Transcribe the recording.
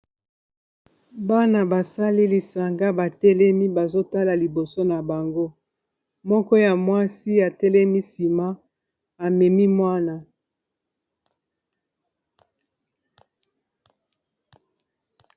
Bana basali lisanga batelemi bazotala liboso na bango, moko ya mwasi atelemi nsima amemi mwana.